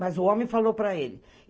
Mas o homem falou para ele.